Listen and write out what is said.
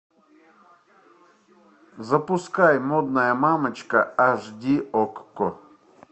запускай модная мамочка аш ди окко